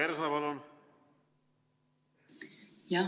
Liina Kersna, palun!